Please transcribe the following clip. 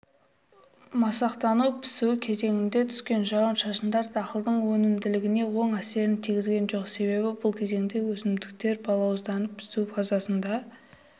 масақтану-пісу кезеңінде түскен жауын-шашындар дақылдың өнімділігіне оң әсерін тигізген жоқ себебі бұл кезеңде өсімдіктер балауызданып пісу фазасында